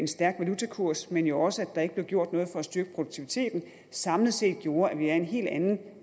stærk valutakurs men jo også at der ikke blev gjort noget for at styrke produktiviteten samlet set har gjort at vi er i en helt anden